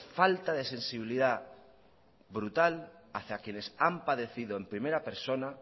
falta de sensibilidad brutal hacia quienes han padecido en primera persona